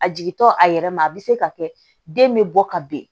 A jigintɔ a yɛrɛ ma a bɛ se ka kɛ den bɛ bɔ ka ben